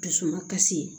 Dusu ma kasi ye